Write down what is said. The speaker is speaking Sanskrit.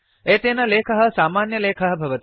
एतेन लेखः सामान्यलेखः भवति